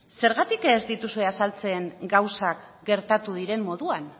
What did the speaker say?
zergatik ez dituzue azaltzen gauzak gertatu diren moduan